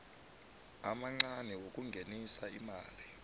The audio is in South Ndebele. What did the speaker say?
amancani wokungenisa imali